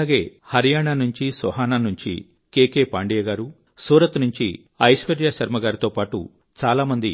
మీలాగే హరియాణా నుంచి సోహనా నుంచి కే కే పాండేయ గారు సూరత్ నుంచి ఐశ్వర్యాశర్మ గారితో పాటు చాలా మంది